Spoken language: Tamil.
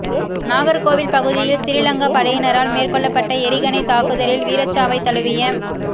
நாகர்கோவில் பகுதியில் சிறிலங்கா படையினரால் மேற்கொள்ளப்பட்ட எறிகணைத் தாக்குதலில் வீரச்சாவைத் தழுவிய